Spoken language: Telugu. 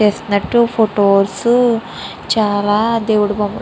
ఫొటోస్ చాలా దేవుడి దగ్గర --